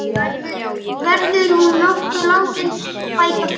Verður hún nokkuð látin fækka fötum?